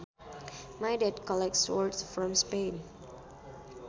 My dad collects swords from Spain